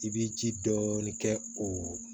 I bɛ ji dɔɔni kɛ o